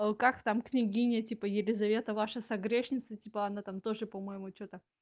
как там княгиня типа елизавета ваша со грешница типа она там тоже по-моему что-то